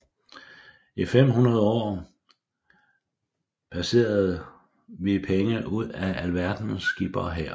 I fem hundrede år persede vi penge ud af alverdens skippere her